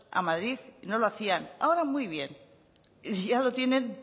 a madrid y no lo hacían ahora muy bien ya lo tienen